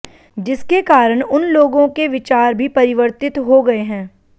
जिसके कारण उन लोगों के विचार भी परिवर्तित हो गए हैं